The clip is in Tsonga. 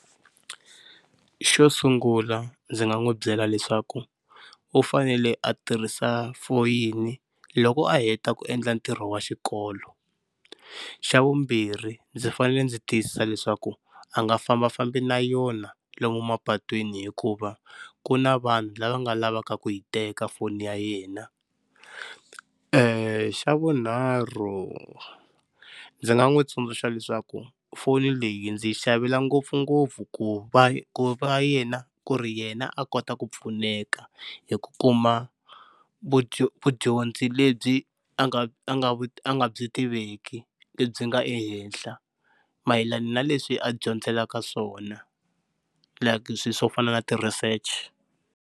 Xo sungula ndzi nga n'wi byela leswaku u fanele a tirhisa foyini loko a heta ku endla ntirho wa xikolo, xa vumbirhi ndzi fanele ndzi tiyisisa leswaku a nga fambafambi na yona lomu mapatwini hikuva ku na vanhu lava nga lavaka ku yi teka foni ya yena, xa vunharhu ndzi nga n'wi tsundzuxa leswaku foni leyi ndzi yi xavela ngopfungopfu ku va va yena ku ri yena a kota ku pfuneka hi ku kuma vudyondzi lebyi a nga a nga a nga byi tiveki lebyi nga ehenhla mayelana na leswi a dyondzelaka swona like swilo swo fana na ti-research-i.